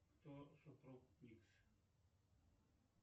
кто супруг икс